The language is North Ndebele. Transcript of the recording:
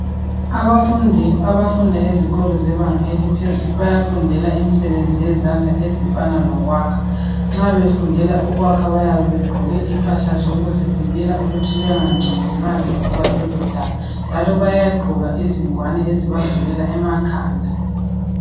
Abafundi abafunda ezikolo zebanga eliphezulu bayafundela imisebenzi yezandla ezifana lokhwakha. Nxa befundela ukwakha bayabe begqoke impahla zokuzivikela ukuthi bengangcoli nxa bevuba lolo daka njalo bayagqoka izingwane ezibavikela emakhanda.